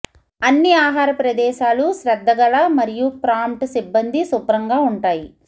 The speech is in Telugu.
అన్ని ఆహార ప్రదేశాలు శ్రద్ధగల మరియు ప్రాంప్ట్ సిబ్బంది శుభ్రంగా ఉంటాయి